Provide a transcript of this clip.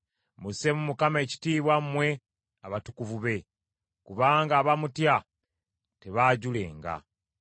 Musseemu Mukama ekitiibwa mmwe abatukuvu be, kubanga abamutya tebaajulenga.